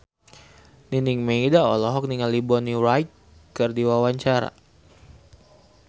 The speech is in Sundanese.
Nining Meida olohok ningali Bonnie Wright keur diwawancara